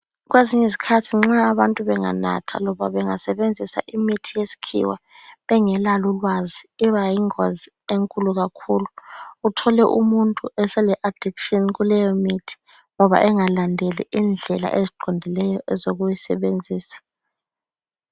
Kwezinye izikhathi nxa abantu benganatha loba bangasebenzisa imithi yesikhiwa, bengelalo ulwazi iba yingozi enkulu kakhulu, uthole umuntu esele addiction kuleyo mithi ngoba engalandeli indlela eziqondileyo ezokuyisebenzisa.